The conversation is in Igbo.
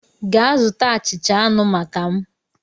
Gaa zụta achịcha anụ maka m!